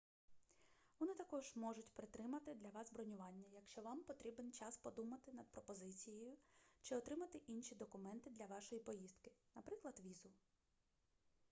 вони також можуть притримати для вас бронювання якщо вам потрібен час подумати над пропозицією чи отримати інші документи для вашої поїздки наприклад візу